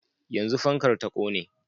yanzun fankar ta kone